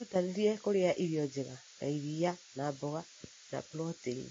Wĩrutanĩrie kũrĩa irio njega na irĩ na mboga na proteini.